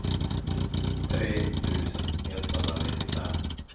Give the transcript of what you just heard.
tre tusen etthundranittiofem